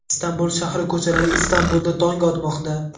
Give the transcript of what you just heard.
Istanbul shahri ko‘chalari Istanbulda tong otmoqda.